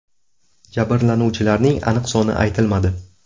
Jabrlanuvchilarning aniq soni aytilmadi.